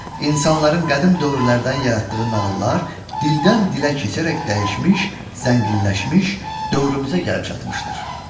İnsanların qədim dövrlərdən yaratdığı nağıllar dildən dilə keçərək dəyişmiş, zənginləşmiş dövrümüzə gəlib çatmışdır.